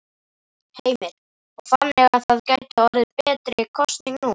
Heimir: Og þannig að það gæti orðið betri kosning nú?